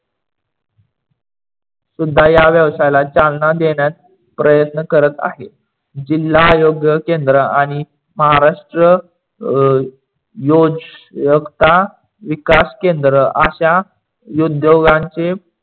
सुद्धा या विषयाला चलना देण्यात प्रयत्न करत आहे. जिल्हा आयोग केंद्र आणि महाराष्ट्र अं योजकता विकास केंद्र अश्या उद्योगांचे